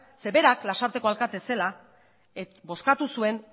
zeren berak lasarteko alkatea zela bozkatu zuen